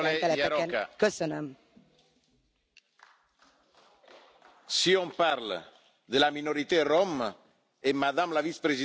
Si on parle de la minorité rom et que Madame la vice présidente essaie de défendre la minorité rom, elle a le droit de le faire.